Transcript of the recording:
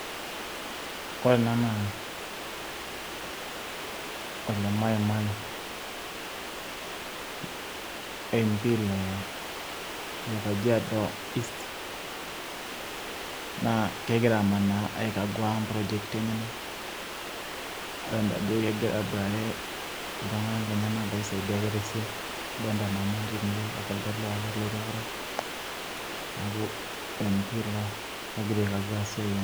ore ena naa ole maimai, mp le kajiado east, naa kegira amanaa aikagua improjeti enyenak. nadolta ajo kegira aboitare iltunganka lenyanak, losaidia ake te siai, adolta emama o kulie lewa ake ootii teidie te kurum neeku mp ogira aukagua ake esiai enye.